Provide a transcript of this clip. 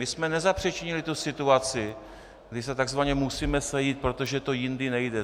My jsme nezapříčinili tu situaci, kdy si takzvaně musíme sejít, protože to jindy nejde.